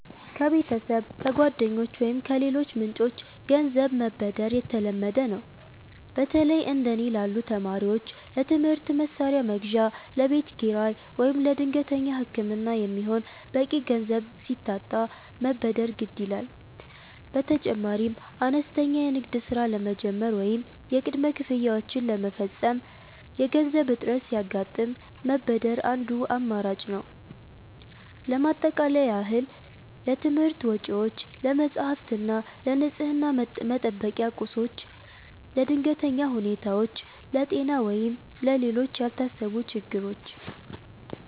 ከቤተሰብ፣ ከጓደኞች ወይም ከሌሎች ምንጮች ገንዘብ መበደር የተለመደ ነው። በተለይ እንደ እኔ ላሉ ተማሪዎች ለትምህርት መሣሪያ መግዣ፣ ለቤት ኪራይ ወይም ለድንገተኛ ሕክምና የሚሆን በቂ ገንዘብ ሲታጣ መበደር ግድ ይላል። በተጨማሪም አነስተኛ የንግድ ሥራ ለመጀመር ወይም የቅድመ ክፍያዎችን ለመፈጸም የገንዘብ እጥረት ሲያጋጥም መበደር አንዱ አማራጭ ነው። ለማጠቃለያ ያህል: ለትምህርት ወጪዎች፦ ለመጻሕፍት እና ለንፅህና መጠበቂያ ቁሶች። ለድንገተኛ ሁኔታዎች፦ ለጤና ወይም ለሌሎች ያልታሰቡ ችግሮች።